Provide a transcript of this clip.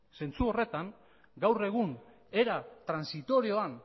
zentzu horretan gaur egun era transitorioan